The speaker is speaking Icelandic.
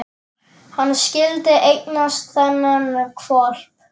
Hann skyldi eignast þennan hvolp!